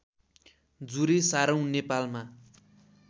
जुरे सारौं नेपालमा